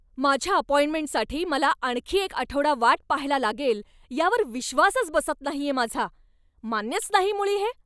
माझ्या अपॉइंटमेंटसाठी मला आणखी एक आठवडा वाट पाहायला लागेल यावर विश्वासच बसत नाहीये माझा. मान्यच नाही मुळी हे.